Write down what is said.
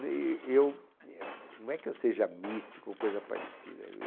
E... eu. Não é que eu seja místico ou coisa parecida.